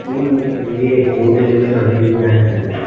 ହୁଁ ଦିଏ food delivery ବିଷୟରେ ଜାଣିବାର ଥିଲା,